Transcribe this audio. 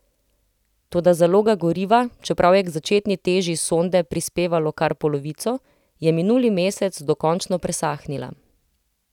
Toda zaloga goriva, čeprav je k začetni teži sonde prispevalo kar polovico, je minuli mesec dokončno presahnila.